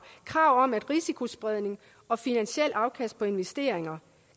krav om risikospredning og finansielle afkast af investeringer